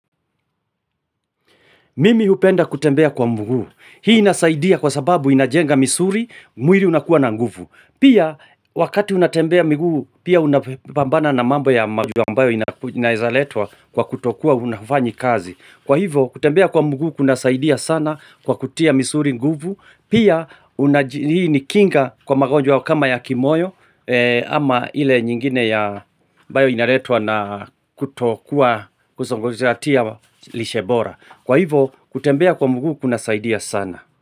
Mimi hupenda kutembea kwa mguu. Hii inasaidia kwa sababu inajenga misuri, mwiri unakuwa na nguvu. Pia wakati unatembea miguu, pia unapambana na mambo ya magonjwa mbayo inayeza letwa kwa kutokuwa hunafanyi kazi. Kwa hivo, kutembea kwa muguu kuna saidia sana kwa kutia misuri nguvu, pia unaji hii ni kinga kwa magonjwa kama ya kimoyo, ama ile nyingine ya ambayo inaretwa na kutokua kuzongojiratia lishebora. Kwa hivo, kutembea kwa mugu kuna saidia sana.